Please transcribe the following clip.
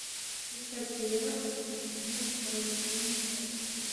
искать сериал острые предметы второй сезон десятая часть